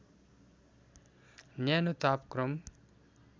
न्यानो तापक्रम